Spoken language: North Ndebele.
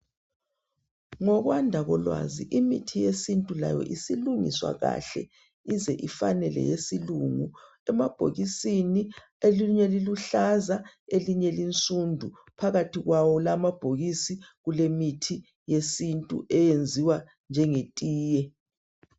Ngokwanda kolwazi imithi yesintu layo isilungiswa kahle, ize ifane leyesilungu emabhokisini, elinye liluhlaza, elinye linsundu phakathi kwawo lamabhokisi kulemithi yesintu eyenziwa njengetiye.